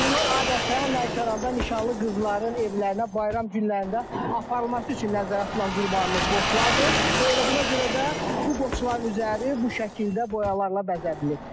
Bunlar adətən Lənkəranda nişanlı qızların evlərinə bayram günlərində aparılması üçün nəzərdə tutulan qurbanlıq qoçlardır və elə buna görə də bu qoçların üzəri bu şəkildə boyalarla bəzədilib.